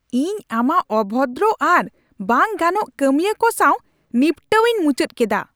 ᱤᱧ ᱟᱢᱟᱜ ᱚᱵᱷᱚᱫᱨᱚ ᱟᱨ ᱵᱟᱝ ᱜᱟᱱᱚᱜ ᱠᱟᱹᱢᱤᱭᱟᱹ ᱠᱚ ᱥᱟᱶ ᱱᱤᱯᱴᱟᱹᱣ ᱤᱧ ᱢᱩᱪᱟᱹᱫ ᱠᱮᱫᱟ ᱾